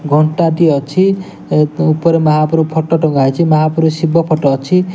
ଘଣ୍ଟାଟି ଅଛି ଏତ ଉପରେ ମହାପ୍ରଭୁ ଫଟ ଟଙ୍ଗା ହେଇଚି ମହାପ୍ରଭୁ ଶିବ ଫଟ ଅଛି।